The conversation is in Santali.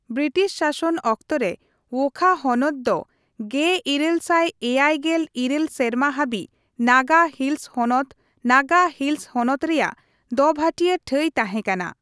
ᱵᱨᱤᱴᱤᱥ ᱥᱟᱥᱚᱱ ᱚᱠᱛᱮ ᱨᱮ ᱣᱳᱠᱷᱟ ᱦᱚᱱᱚᱛ ᱫᱚ ᱑᱘᱗᱘ ᱥᱮᱨᱢᱟ ᱦᱟᱹᱵᱤᱡ ᱱᱟᱜᱟ ᱦᱤᱞᱥ ᱦᱚᱱᱚᱛ ᱱᱟᱜᱟ ᱦᱤᱞᱥ ᱦᱚᱱᱚᱛ ᱨᱮᱭᱟᱜ ᱫᱚᱵᱷᱟᱴᱤᱭᱟᱹ ᱴᱷᱟᱹᱭ ᱛᱟᱦᱮᱸᱠᱟᱱᱟ।